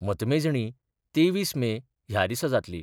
मतमेजणी तेवीस मे ह्या दिसा जातली.